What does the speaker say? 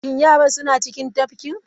Shin yaran suna cikin tafkin?